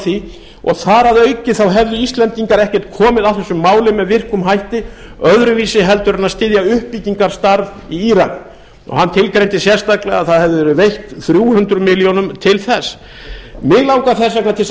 því og þar að auki hefðu íslendingar ekki komið að þessu máli með virkum hætti öðruvísi heldur en styðja uppbyggingarstarf í írak og hann tilgreindi sérstaklega að það hefði verið veitt þrjú hundruð milljónir til þess mig langar þess vegna til að